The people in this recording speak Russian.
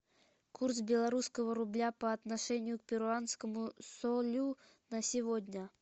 курс белорусского рубля по отношению к перуанскому солю на сегодня